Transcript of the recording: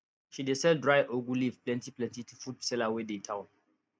she dey sell dry ugu leaf plentyplenty to food seller wey dey town